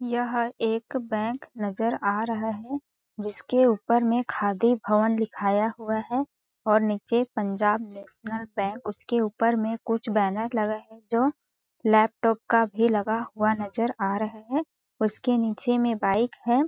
यह एक बैंक नज़र आ रहा है जिसके ऊपर में खादी भवन लिखाया हुआ है और नीचे पंजाब नेशनल बैंक उसके ऊपर में कुछ बैनर लगा जो लैपटॉप का भी लगा हुआ नज़र आ रहा है उसके नीचे में बाइक है।